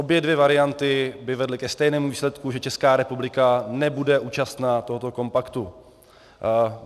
Obě dvě varianty by vedly ke stejnému výsledku, že Česká republika nebude účastna tohoto kompaktu.